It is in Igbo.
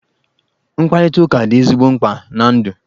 Mkparịtụka dị ezigbo mkpa na ndụ.